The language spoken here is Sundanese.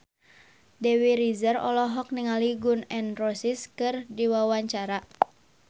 Dewi Rezer olohok ningali Gun N Roses keur diwawancara